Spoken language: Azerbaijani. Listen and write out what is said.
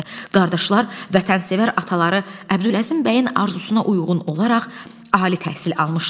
Qardaşlar vətənsevər ataları Əbdüləzim bəyin arzusuna uyğun olaraq ali təhsil almışlar.